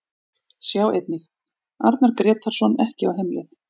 Sjá einnig: Arnar Grétarsson ekki á heimleið